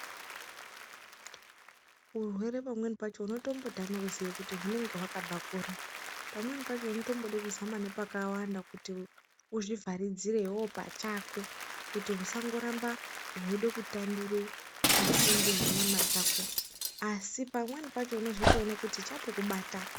Urwere pamweni pacho unotombotama kuziye kuti hunenge hwakabva kuri. Pamweni pacho unotombode kuzama nepakawanda kuti uzvivharidzire iveve pachako kuti husangoramba hweide kutambire pasinde nenyama dzako. Asi pamweni pacho unozotoona kuti chatokubata.